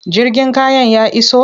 Jirgin kayan ya iso?